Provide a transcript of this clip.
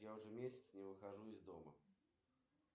нюрба будет дождь